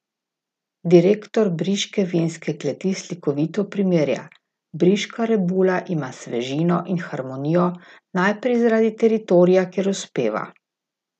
Direktor briške vinske kleti slikovito primerja: "Briška rebula ima svežino in harmonijo najprej zaradi teritorija, kjer uspeva.